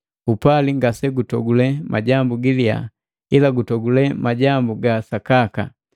Upali ngasegutogule majambu giliya ila gutogule majambu ga sakaka.